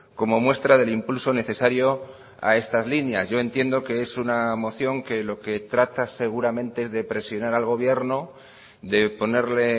como muestra del impulso necesario a estas líneas yo entiendo que es una moción que lo que trata seguramente es de presionar al gobierno de ponerle